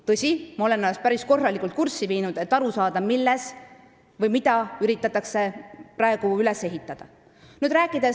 Tõsi, ma olen ennast päris korralikult sellega kurssi viinud, selleks et aru saada, mida praegu üles ehitada üritatakse.